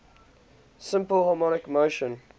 simple harmonic motion